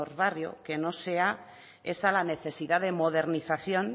barrio que no sea esa la necesidad de modernización